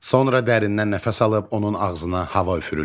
Sonra dərindən nəfəs alıb onun ağzına hava üfürülür.